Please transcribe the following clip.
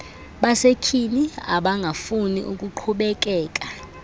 basetyhini abangafuni kuqhubekeka